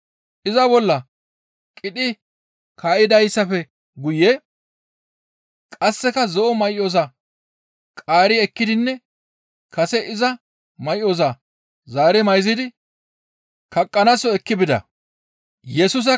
Iza bolla qidhi kaa7idaappe guye qasseka zo7o may7oza qaari ekkidinne kase iza may7oza zaari mayzidi kaqqanaaso ekki bida.